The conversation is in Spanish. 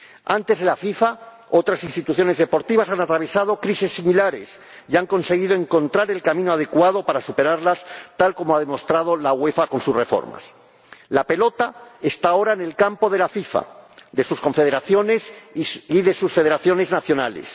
Antes de la FIFA, otras instituciones deportivas han atravesado crisis similares y han conseguido encontrar el camino adecuado para superarlas, tal como ha demostrado la UEFA con sus reformas. La pelota está ahora en el campo de la FIFA, de sus confederaciones y de sus federaciones nacionales.